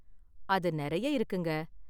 அது நிறைய இருக்குங்க.